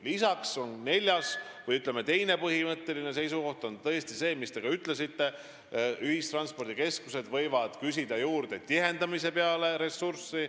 Lisaks on teine põhimõtteline seisukoht tõesti see, mis te ka ütlesite, et ühistranspordikeskused võivad liinide tihendamise jaoks ressurssi juurde küsida.